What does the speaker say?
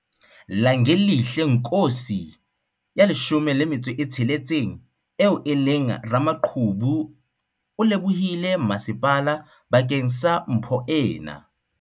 Langelihle Nkosi, 16, eo e leng ramaqhubu o lebohile masepala bakeng sa mpho ena.